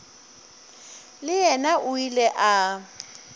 le yena o ile a